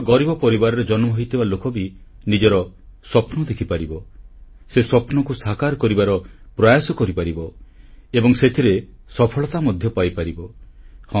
ଭାରତର ଗରିବ ପରିବାରରେ ଜନ୍ମ ହୋଇଥିବା ଲୋକ ବି ନିଜର ସ୍ୱପ୍ନ ଦେଖିପାରିବ ସେ ସ୍ୱପ୍ନକୁ ସାକାର କରିବାର ପ୍ରୟାସ କରିପାରିବ ଏବଂ ସେଥିରେ ସଫଳତା ମଧ୍ୟ ପାଇପାରିବେ